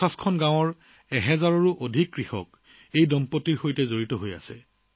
বৰ্তমান ৫০খন গাঁৱৰ ১০০০ৰো অধিক কৃষক এই দম্পতীৰ সৈতে জড়িত